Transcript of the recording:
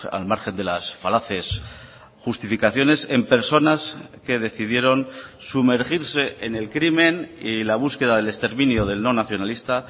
al margen de las falaces justificaciones en personas que decidieron sumergirse en el crimen y la búsqueda del exterminio del no nacionalista